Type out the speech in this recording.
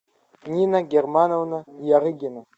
нина германовна ярыгина